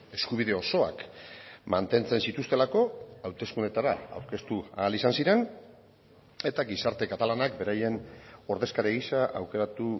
eskubide osoak mantentzen zituztelako hauteskundeetara aurkeztu ahal izan ziren eta gizarte katalanak beraien ordezkari gisa aukeratu